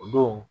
O don